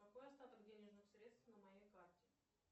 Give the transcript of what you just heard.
какой остаток денежных средств на моей карте